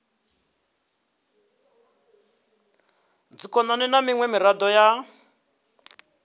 dzikhonani na miṅwe miraḓo ya